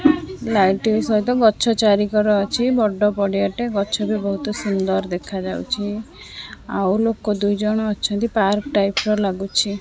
Light ସହିତ ଗଛ ଚାରିକଡ଼ ଅଛି ବଡ଼ ପଡି଼ଆଟେ ଗଛ ବି ବୋହୁତ ସୁନ୍ଦର ଦେଖା ଯାଉଛି ଆଉ ଲୋକ ଦୁଇଜଣ ଅଛନ୍ତି ପାର୍କ ଟାଇପ୍ ର ଲାଗୁଚି।